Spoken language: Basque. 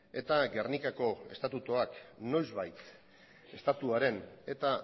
eta gernikako estatutuak noizbait estatuaren eta